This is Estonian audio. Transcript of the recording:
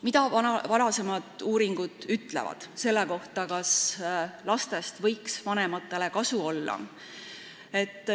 Mida ütlevad varasemad uuringud selle kohta, kas lastest võiks vanematele kasu olla?